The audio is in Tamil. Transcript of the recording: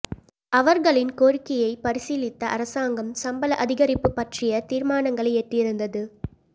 அவர்களின் கோரிக்கையைப் பரிசீலித்த அரசாங்கம் சம்பள அதிகரிப்பு பற்றிய தீர்மானங்களை எட்டியிருந்தது